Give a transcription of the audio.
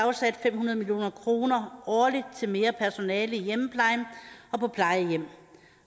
fem hundrede million kroner årligt til mere personale i hjemmeplejen og på plejehjem